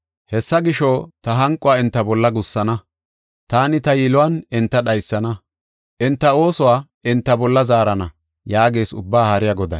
Hessa gisho, ta hanquwa enta bolla gussana; taani ta yiluwan enta dhaysana; enti oosuwa enta bolla zaarana” yaagees Ubbaa Haariya Goday.